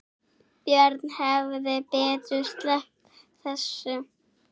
Björn hefði betur sleppt þessu.